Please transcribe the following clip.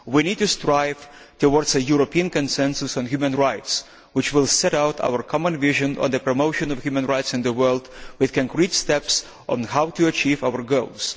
We need to strive towards a European consensus on human rights which will set out our common vision on the promotion of human rights in the world, with concrete steps on how to achieve our goals.